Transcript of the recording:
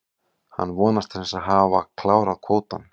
Hann vonast til að hafa klárað kvótann.